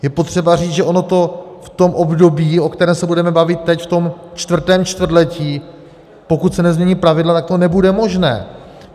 Je potřeba říct, že ono to v tom období, o kterém se budeme bavit teď, v tom čtvrtém čtvrtletí, pokud se nezmění pravidla, tak to nebude možné.